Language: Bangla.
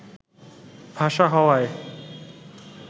ভাষা হওয়ায়